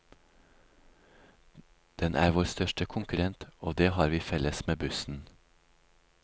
Den er vår største konkurrent, og det har vi felles med bussen.